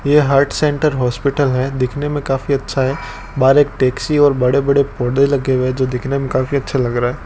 यह heart centre hospital है दिखने में काफी अच्छा है बाहर एक टैक्सी और बड़े बड़े पौधे लगे हुए हैं जो दिखने में काफी अच्छा लग रहा है।